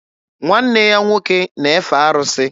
Nwanne ya nwoke na-efe arụsị.